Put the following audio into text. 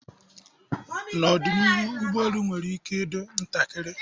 N'ọdịnihu, ụgbọelu nwere ike ịdịkwu ntakịrị.